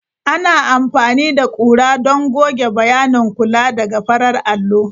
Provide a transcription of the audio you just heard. Ana amfani da ƙura don goge bayanin kula daga farar allo.